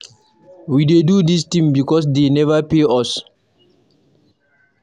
We dey do dis thing because dey never pay us.